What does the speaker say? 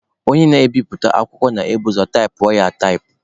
Onye na-ebiputa akwụkwọ na-ebu ụzọ taịpụọ ya ataịpụ.